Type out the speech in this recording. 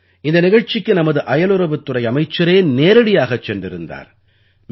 இந்த நிகழ்ச்சிக்கு நமது அயலுறவுத் துறை அமைச்சரே நேரடியாகச் சென்றிருந்தார்